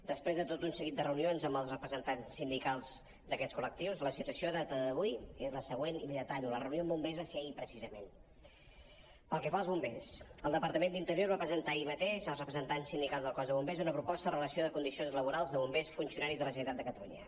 després de tot un seguit de reunions amb els representants sindicals d’aquests col·lectius la situació a data d’avui és la següent i la hi detallo la reunió amb bom·bers va ser ahir precisament pel que fa als bombers el departament d’interior va presentar ahir mateix als representants sindicals del cos de bombers una proposta o relació de condicions laborals de bombers funcionaris de la generalitat de cata·lunya